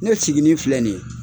Ne sigini filɛ nin ye